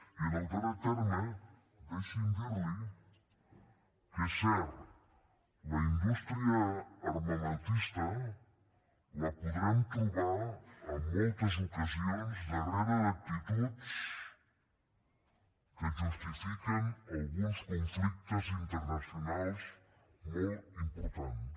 i en el darrer terme deixi’m dir li que és cert la indústria armamentista la podrem trobar en moltes ocasions darrere d’actituds que justifiquen alguns conflictes internacionals molt importants